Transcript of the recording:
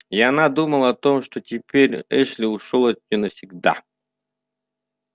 и она думала о том что теперь эшли ушёл от неё навсегда